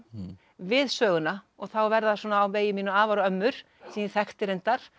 við söguna og þá verða svona á vegi mínum afar og ömmur sem ég þekkti reyndar